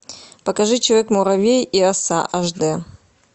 покажи человек муравей и оса аш дэ